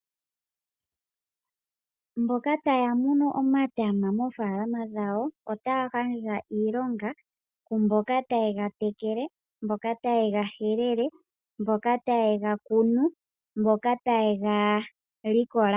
Mboka taya munu omatama moofalama dhawo ota ya gandja iilonga ku mboka taye ga tekele, mboka taye ga helele, mboka taye ga kunu, mboka taye ga likola.